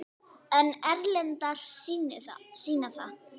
Sunna: En erlendar sýna það?